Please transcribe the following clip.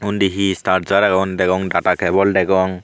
undi he charger agon degong data cable degong.